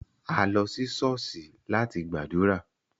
A lo si ṣọ̀ọ́sì lati gbadura.